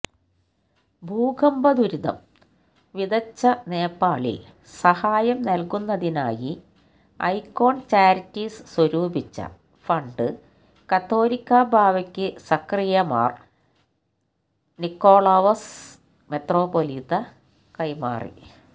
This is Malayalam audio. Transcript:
ഭൂകമ്പംദുരിതം വിതച്ചനേപ്പാളില് സഹായംനല്കുന്നതിനായി െഎക്കോണ് ചാരിറ്റീസ് സ്വരൂപിച്ച ഫണ്ട്കാതോലിക്കബാവയ്ക്കു സഖറിയാ മാര് നിക്കളാവോസ് മെത്രാപ്പോലീത്ത കൈമാറി